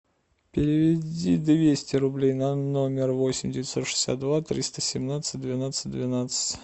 переведи двести рублей на номер восемь девятьсот шестьдесят два триста семнадцать двенадцать двенадцать